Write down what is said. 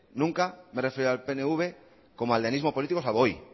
nunca me he referido al pnv como aldeanismo político salvo hoy